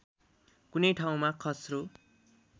कुनै ठाउँमा खस्रो